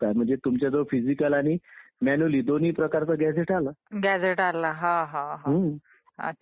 परंतु तो सर्वांना सामान निवडणुकीत सहभागी होण्याचा अधिकार जर कुणी दिला असेल तर तो डॉ आंबेडकरांनी दिला.